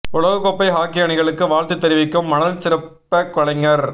உலக கோப்பை ஹாக்கி அணிகளுக்கு வாழ்த்து தெரிவிக்கும் மணல் சிற்ப கலைஞர்